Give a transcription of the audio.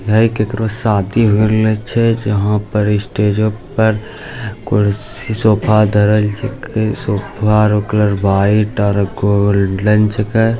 है केकरो शादी होइ रहेले छय यहाँ पर स्टेजो पर कुर्सी सोफा धरल छय कई सोफा उकर वाइट आर गोल्डन छय --